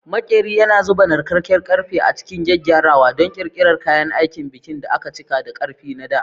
Maƙeri yana zuba narkakkar ƙarfe a cikin gyaggyarawa don ƙirƙirar kayan aikin bikin da aka cika da ƙarfi na dā.